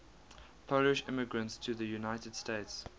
polish immigrants to the united states